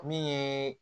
Min ye